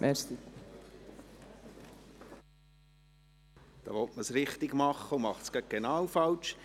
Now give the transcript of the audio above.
Da will man es richtig machen und macht es genau falsch.